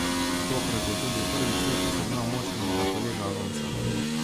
Tokrat je tudi prvič letos ugnal moštvenega kolega Alonsa.